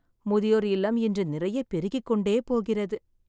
முதியோர் இல்லம் இன்று நிறைய பெருகிக்கொண்டே போகிறது.